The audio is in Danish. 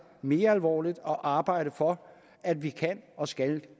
mere alvorligt og arbejde for at vi kan og skal